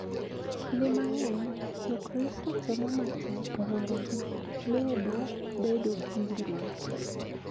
Kinde mang�eny Jokristo temo matek mondo gimedo bedo gi winjruok .